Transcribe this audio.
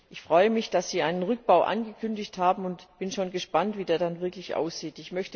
Ich freue mich, dass Sie einen Rückbau angekündigt haben und bin schon gespannt, wie der dann wirklich aussieht.